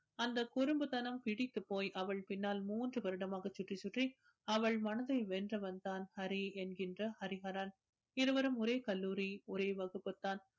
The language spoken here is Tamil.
அந்த குறும்புத்தனம் பிடித்துப்போய் அவள் பின்னால் மூன்று வருடமாக சுற்றி சுற்றி அவள் மனச வென்றவன் தான் ஹரி என்கின்ற ஹரிஹரன் இருவரும் ஒரே கல்லூரி ஒரே வகுப்பு தான்